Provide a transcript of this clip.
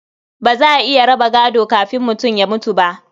Ba za a iya raba gado kafin mutum ya mutu ba.